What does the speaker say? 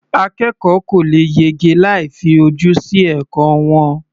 Akẹ́kọ̀ọ́ kò lè yege láì fi ojú sí ẹ̀kọ́ wọn.